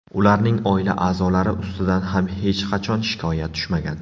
Ularning oila a’zolari ustidan ham hech qachon shikoyat tushmagan.